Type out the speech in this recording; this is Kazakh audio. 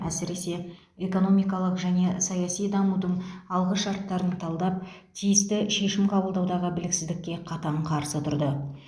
әсіресе экономикалық және саяси дамудың алғышарттарын талдап тиісті шешім қабылдаудағы біліксіздікке қатаң қарсы тұрды